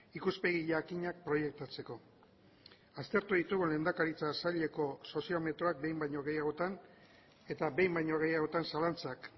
ikuspegi jakinak proiektatzeko aztertu ditugu lehendakaritza saileko soziometroak behin baino gehiagotan eta behin baino gehiagotan zalantzak